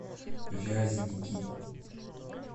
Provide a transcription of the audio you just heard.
вязники